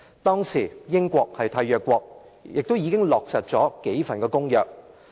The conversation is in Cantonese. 當時英國是締約國，亦已落實數項公約。